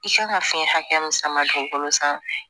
I kan ka fiɲɛ hakɛ min sama dugukolo san